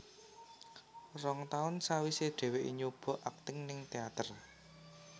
Rong taun sawisé dheweké nyoba akting ning teater